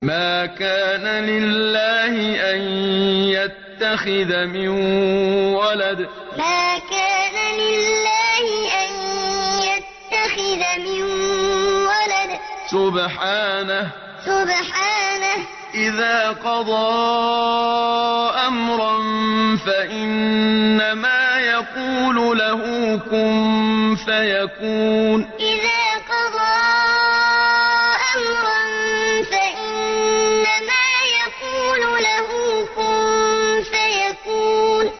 مَا كَانَ لِلَّهِ أَن يَتَّخِذَ مِن وَلَدٍ ۖ سُبْحَانَهُ ۚ إِذَا قَضَىٰ أَمْرًا فَإِنَّمَا يَقُولُ لَهُ كُن فَيَكُونُ مَا كَانَ لِلَّهِ أَن يَتَّخِذَ مِن وَلَدٍ ۖ سُبْحَانَهُ ۚ إِذَا قَضَىٰ أَمْرًا فَإِنَّمَا يَقُولُ لَهُ كُن فَيَكُونُ